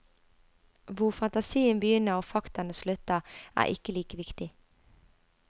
Hvor fantasien begynner og faktaene slutter, er ikke like viktig.